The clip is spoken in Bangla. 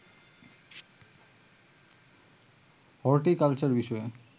হর্টিকালচার বিষয়ে